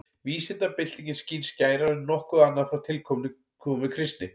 Vísindabyltingin skín skærar en nokkuð annað frá tilkomu kristni.